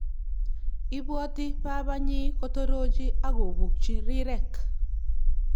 ibwati babanyi kotorochi ak kopukchi rirek